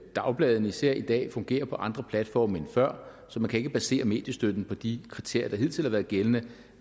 dagbladene især i dag fungerer på andre platforme end før så man kan ikke basere mediestøtten på de kriterier der hidtil har været gældende